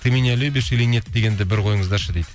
ты меня любишь или нет дегенді бір қойыңыздаршы дейді